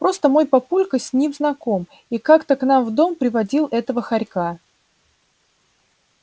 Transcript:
просто мой папулька с ним знаком и как-то к нам в дом приводил этого хорька